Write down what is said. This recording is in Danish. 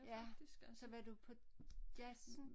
Ja så var du på Jazzen